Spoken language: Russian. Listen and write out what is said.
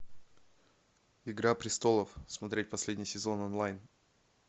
игра престолов смотреть последний сезон онлайн